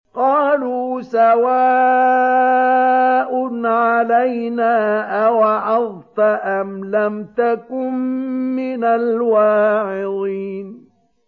قَالُوا سَوَاءٌ عَلَيْنَا أَوَعَظْتَ أَمْ لَمْ تَكُن مِّنَ الْوَاعِظِينَ